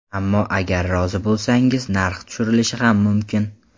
Ammo agar rozi bo‘lsangiz, narx tushirilishi ham mumkin”.